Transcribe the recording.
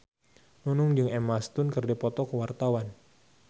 Nunung jeung Emma Stone keur dipoto ku wartawan